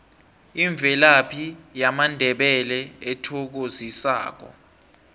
imvelaphi yamandebele ethokozisako